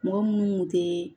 Mɔgɔ munnu kun te